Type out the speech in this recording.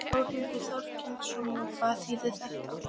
Þórhildur Þorkelsdóttir: Og hvað þýðir þetta?